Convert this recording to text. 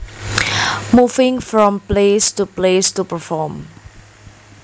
Moving from place to place to perform